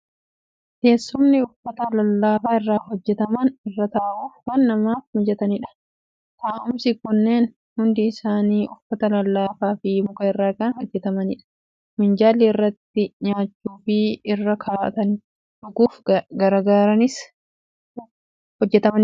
Teessumni uffata lallaafaa irraa hojjetaman irra taa'uuf kan namaaf mijatanidha. Taa'umsi kunneen hundi isaanii uffata lallaafaa fi muka irraa kan hojjetamanidha. Minjaalli irratti nyaachuu fi irra kaa'atanii dhuguuf gargaaranis hojjetamanii ni jiru.